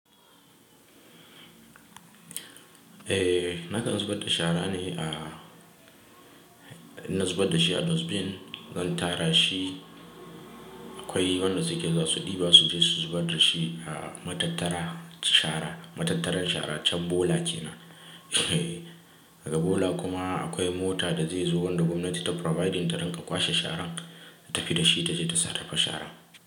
Eh, na kan zubar da shara ne a, ina zubar da shi a dustbin. Zan tara shi, akwai wanda suke zasu ɗiba su je su zubar da shi a matattarar shara, matattaran shara can bola kenan. Daga Bola kuma akwai mota da zai zo wanda gwamnati ta providing ta don ka kwashe sharan ta fi da shi tace ta sarrafa shara.